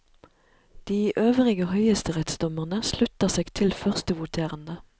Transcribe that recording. De øvrige høyesterettsdommere slutta seg til førstevoterende.